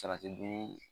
Salati dun